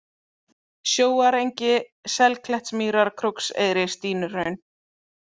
Sjóarengi, Selklettsmýrar, Krókseyri, Stínuhraun